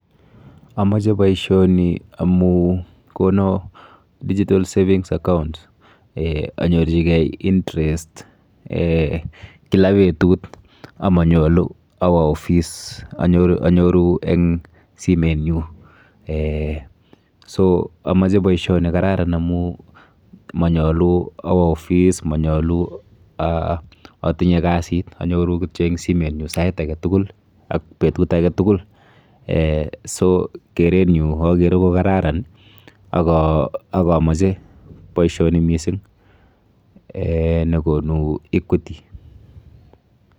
Amoche boisioni amu kono digital savings account eh anyorchikei interest eh kila petut amanyolu awo ofice anyoru eng simenyu eh so amoche boisioni kararan amu manyolu awo ofice manyolu ah atinye kasit. Anyoru kityo eng simenyu sait aketukul ak betut aketukul. Eh so kerenyu akere kokararan ak ah ak amoche boisioni mising eh nekonu equity